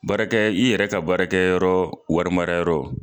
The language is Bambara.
Baarakɛ i yɛrɛ ka baarakɛ yɔrɔ wari mara yɔrɔ.